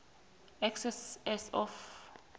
excess as of